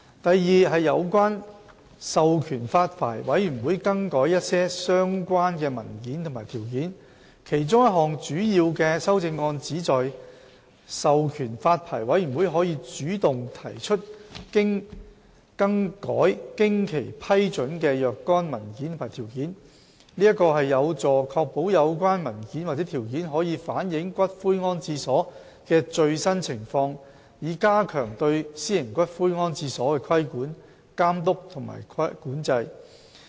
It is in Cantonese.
b 有關授權發牌委員會更改一些相關文件和條件其中一項主要修正案，旨在授權發牌委員會可主動提出更改經其批准的若干文件和條件，這有助確保有關文件或條件可反映有關骨灰安置所的最新情況，以加強對私營骨灰安置所的規管、監督和管制。